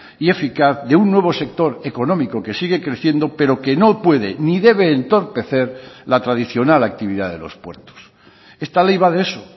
y eficaz de un nuevo sector económico que sigue creciendo pero que no puede ni debe entorpecer la tradicional actividad de los puertos esta ley va de eso